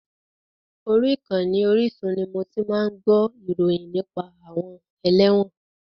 Orí ìkànnì Orísun ni mo ti máa ń gbó ìròyìn nípa àwọn ẹlẹ́wọ̀n.